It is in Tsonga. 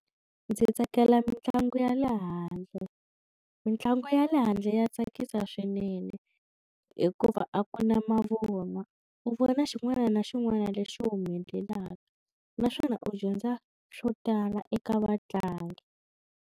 Ndzi tsakela mitlangu ya le handle mitlangu ya le handle ya tsakisa swinene hikuva a ku na mavunwa u vona xin'wana na xin'wana lexi humelelaka naswona u dyondza swo tala eka vatlangi.